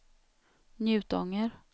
Njutånger